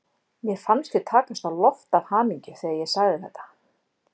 Mér fannst ég takast á loft af hamingju þegar ég sagði þetta.